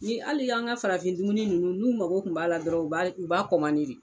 Ni hali y'an ka farafin dumuni ninnu n'u mago tun b'a la dɔrɔn u b a de